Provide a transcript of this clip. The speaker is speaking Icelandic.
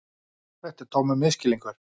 Þetta er tómur misskilningur.